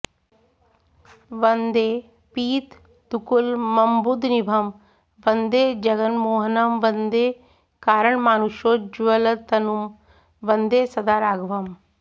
वन्दे पीतदुकूलमम्बुदनिभं वन्दे जगन्मोहनं वन्दे कारणमानुषोज्ज्वलतनुं वन्दे सदा राघवम्